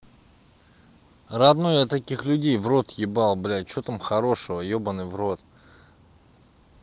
родной я таких людей в рот ебал блядь что там хорошего ёбанный в рот